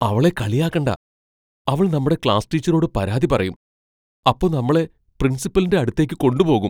അവളെ കളിയാക്കണ്ട. അവൾ നമ്മടെ ക്ലാസ് ടീച്ചറോട് പരാതി പറയും, അപ്പൊ നമ്മളെ പ്രിൻസിപ്പലിന്റെ അടുത്തേക്ക് കൊണ്ട് പോകും.